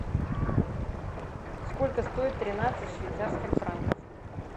сколько стоит тринадцать швейцарских франков